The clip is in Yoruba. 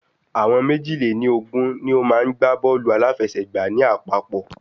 Àwọn méjì lè ní Ogún ni o maá n gbá bọ́ọ̀lù aláfiẹ̀sẹ́gba ní àpapọ̀